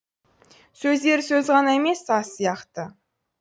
сөздері сөз ғана емес саз сияқты